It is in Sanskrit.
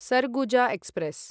सरगुजा एक्स्प्रेस्